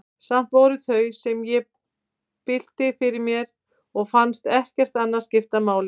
Samt voru það þau, sem ég bylti fyrir mér, og fannst ekkert annað skipta máli.